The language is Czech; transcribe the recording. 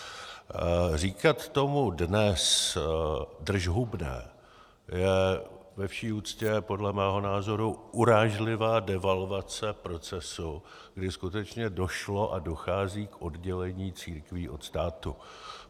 Říkat tomu dnes držhubné je ve vší úctě podle mého názoru urážlivá devalvace procesu, kdy skutečně došlo a dochází k oddělení církví od státu.